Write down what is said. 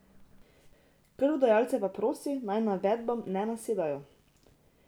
Krvodajalce pa prosi, naj navedbam ne nasedajo.